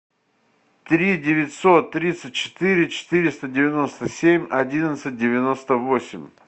три девятьсот тридцать четыре четыреста девяносто семь одиннадцать девяносто восемь